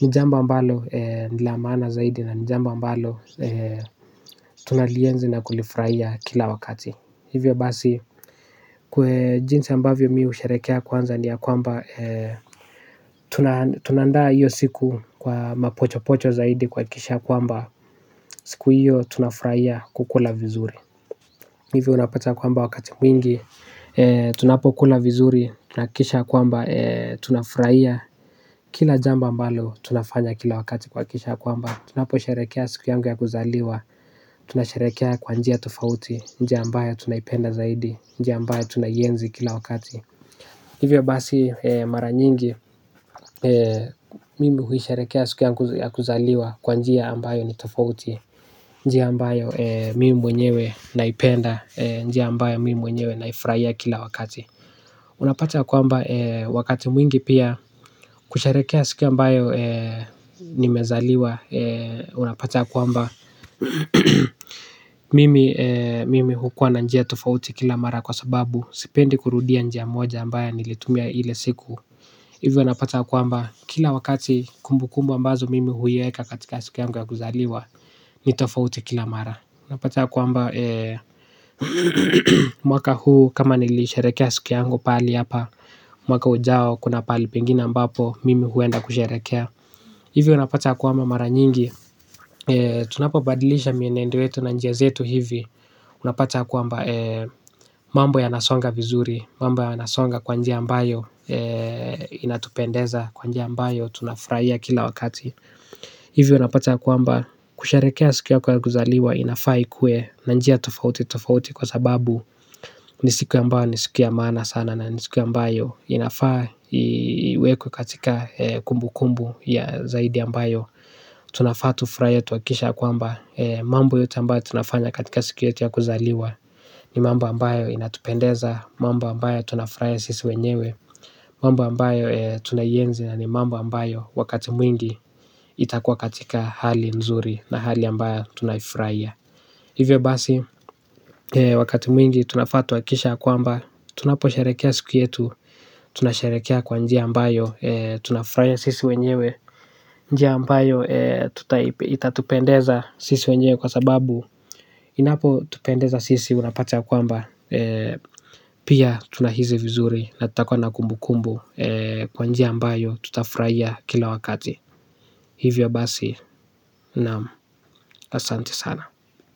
Nijambo ambalo nila maana zaidi na nijambo mbalo tunalienzi na kulifurahia kila wakati. Hivyo basi jinsi ambavyo mimi usherekea kwanza ni ya kwamba tunaandaa hiyo siku kwa mapochopocho zaidi kwakikisha kwamba siku hiyo tunafurahia kukula vizuri. Hivyo unapata kwamba wakati mwingi. Tunapo kula vizuri. Tunakikisha kwamba Tunafurahiya Kila jamba ambalo tunafanya kila wakati kwakikisha kwamba tunapo sherekea siku yangu ya kuzaliwa. Tunasherekea kwa njia tofauti. Njia ambayo tunaipenda zaidi. Njia ambayo tunaienzi kila wakati. Hivyo basi mara nyingi. Mimi huisherekea siku yangu ya kuzaliwa. Kwa njia ambayo ni tofauti. Njia ambayo mimi mwenyewe naipenda. Njia ambayo mimi mwenyewe naifurahia kila wakati. Unapata kwamba wakati mwingi pia kusherekea siku ambayo nimezaliwa. Unapata kwamba mimi hukua na njia tofauti kila mara kwa sababu sipendi kurudia njia moja ambayo nilitumia ile siku. Hivyo unapata kwamba kila wakati kumbu kumbu ambazo mimi huieka katika siku yangu ya kuzaliwa. Ni tofauti kila mara. Unapata ya kwamba mwaka huu kama niliisherekea siku yangu pahali hapa. Mwaka ujao kuna pahali pengine ambapo mimi huenda kusherekea. Hivyo unapata kwamba mara nyingi. Tunapo badilisha mienendo yetu na njia zetu hivi. Unapata kwamba mambo ya nasonga vizuri. Mambo ya nasonga kwanjia ambayo inatupendeza kwanjia ambayo tunafurahia kila wakati. Hivyo unapata ya kwaamba kusherekea siku yako ya kuzaliwa inafaa ikuwe na njia tofauti tofauti kwa sababu ni siku ambayo ni siku ya maana sana na ni siku ambayo inafaa iwekwe katika kumbu kumbu ya zaidi ambayo tunafaa tufurahie twakikishe ya kwamba mambo yote ambayo tunafanya katika siku yetu ya kuzaliwa ni mambo ambayo inatupendeza mamba ambayo tunafurahia sisi wenyewe mambo ambayo tunaienzi na ni mambo ambayo wakati mwingi itakua katika hali nzuri na hali ambayo tunaifurahia. Hivyo basi, wakati mwingi tunafaa twakikishe ya kwamba, tunapo sherekea siku yetu, tunasherekea kwa njia ambayo, tutafurahia sisi wenyewe, njia ambayo itatupendeza sisi wenyewe kwa sababu inapo tupendeza sisi unapata ya kwamba, pia tunahisi vizuri na tutakwa na kumbu kumbu kwa njia ambayo tutafurahiya kila wakati. Hivyo basi, naam asanti sana.